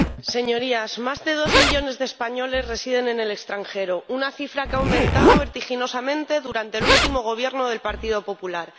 Señora Presidenta, Señorías, más de dos millones de españoles residen en el extranjero, una cifra que ha aumentado vertiginosamente durante el último Gobierno del Partido Popular.